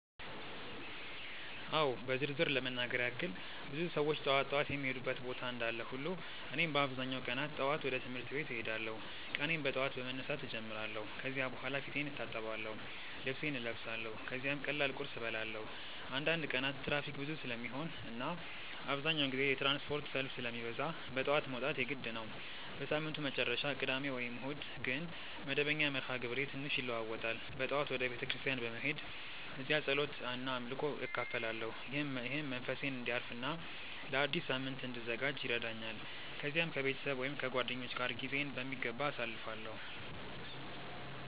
አዎ በዝርዝር ለመናገር ያክል ብዙ ሰዎች ጠዋት ጠዋት የሚሄዱበት ቦታ እንዳለ ሁሉ እኔም በአብዛኛው ቀናት ጠዋት ወደ ትምህርት ቤት እሄዳለሁ። ቀኔን በጠዋት በመነሳት እጀምራለሁ ከዚያ በኋላ ፊቴን እታጠብአለሁ፣ ልብሴን እለብሳለሁ ከዚያም ቀላል ቁርስ እበላለሁ። አንዳንድ ቀናት ትራፊክ ብዙ ስለሚሆን እና አብዛኛውን ጊዜ የትራንስፖርት ሰልፍ ስለሚበዛ በጠዋት መውጣት የግድ ነው። በሳምንቱ መጨረሻ (ቅዳሜ ወይም እሁድ) ግን መደበኛው መርሃ ግብሬ ትንሽ ይለዋዋጣል። በጠዋት ወደ ቤተ ክርስቲያን በመሄድ እዚያ ጸሎት እና አምልኮ እካፈላለሁ፣ ይህም መንፈሴን እንዲያርፍ እና ለአዲስ ሳምንት እንድዘጋጅ ይረዳኛል። ከዚያም ከቤተሰብ ወይም ከጓደኞች ጋር ጊዜዬን በሚገባ አሳልፋለሁ።